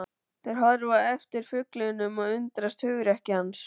Þeir horfa á eftir fuglinum og undrast hugrekki hans.